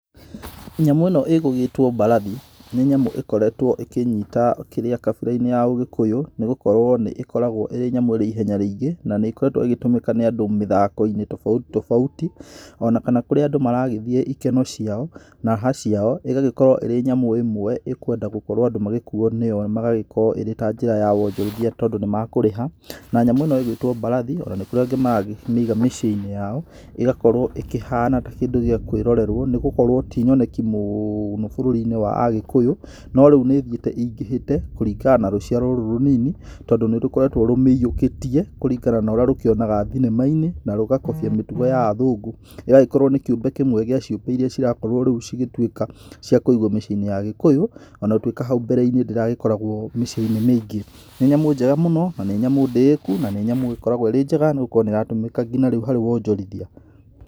Nyamũ ĩno ĩgũgĩtwo mbarathi, nĩ nyamũ ĩkoretwo ĩkinyita kĩrĩa kabira-inĩ ya ũgĩkũyũ nĩ gũkorwo nĩ ĩkoragwo ĩrĩ nyamũ ĩrĩ ihenya rĩingĩ na nĩkoretwo ĩgĩtũmĩka nĩ andũ mĩthako-inĩ tofauti tofauti ona kana kũrĩa andũ maragĩthiĩ ikeno ciao na raha ciao ĩgagĩkorwo ĩrĩ nyamũ ĩmwe ĩkwenda gũkorwo andũ magĩkuo nĩyo magagĩkorwo ĩrĩ ta njĩra ya wonjorithia tondũ nĩmakũrĩha, na nyamũ ĩno ĩgĩtwo mbarathi ona kũrĩ angĩ marakĩmĩiga mĩciĩ-inĩ yao ĩgakorwo ĩkĩhana ta kĩndũ gĩa kwĩrorerwo nĩ gũkorwo ti nyoneki mũũno bũrũri -inĩ wa Agĩkũyũ, norĩu nĩ thiĩte ĩingĩhĩte kũringana na rũciaro rũrũ rũnini tondũ nĩrũkotwo rũmĩiyũkĩtie kũringana na ũrĩa rũkĩionaga thinema-inĩ na rũgakobia mĩtugo ya athũngũ, ĩgagĩkorwo nĩ kĩũmbe kĩmwe gĩa ciũmbe iria cirakorwo rĩu cigĩtuĩka cia kũigwo mĩciĩ-inĩ ya Agĩkũyũ ona gũtuĩka hau mbere-inĩ ndĩragĩkoragwo mĩciĩ-inĩ mĩingĩ, nĩ nyamũ njega mũno na nĩ nyamũ ndĩĩku na nyamũ ĩkoragwo ĩrĩ njega nĩgũkorwo nĩratũmĩka nginya rĩu harĩ wonjorithia.